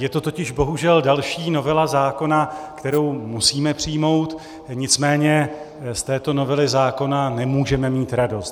Je to totiž bohužel další novela zákona, kterou musíme přijmout, nicméně z této novely zákona nemůžeme mít radost.